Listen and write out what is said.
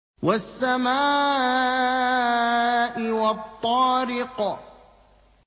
وَالسَّمَاءِ وَالطَّارِقِ